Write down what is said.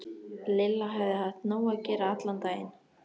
Lilla hafði haft nóg að gera allan daginn.